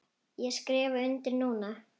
Ég skrifa undir núna.